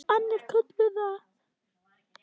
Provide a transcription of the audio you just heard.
Annir kölluðu að.